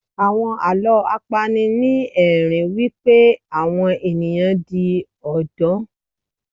Àwọn Àlọ́ a pani ni ẹ̀rín wípé àwọn ẹ̀yàn di Odò.